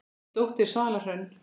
Þín dóttir, Svala Hrönn.